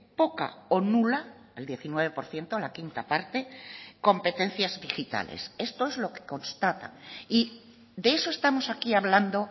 poca o nula el diecinueve por ciento la quinta parte competencias digitales esto es lo que constata y de eso estamos aquí hablando